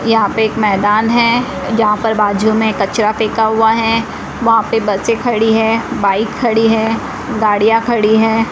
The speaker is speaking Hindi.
यहां पे एक मैदान है जहां पर बाजू में कचरा फेंका हुआ है वहां पे बसें खड़ी हैं बाइक खड़ी हैं गाड़ियां खड़ी हैं।